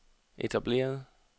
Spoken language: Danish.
etablerede